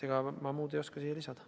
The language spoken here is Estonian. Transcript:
Ega ma muud ei oska siin lisada.